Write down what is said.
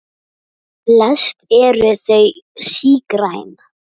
Flest eru þau sígræn.